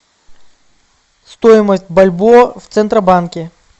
стоимость бальбоа в центробанке